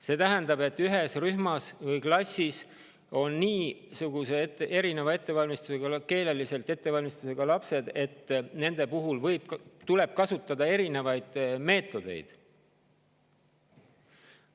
See tähendab, et ühes rühmas või klassis on lapsed nii erineva keelelise ettevalmistusega, et nende puhul tuleb kasutada erinevaid meetodeid.